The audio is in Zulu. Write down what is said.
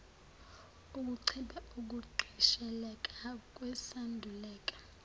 kuncipha ukugqisheleka kwesandulela